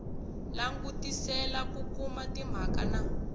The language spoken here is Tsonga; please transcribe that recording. langutisela ku kuma timhaka na